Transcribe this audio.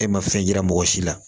E ma fɛn yira mɔgɔ si la